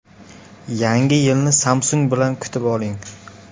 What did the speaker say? Yangi yilni Samsung bilan kutib oling!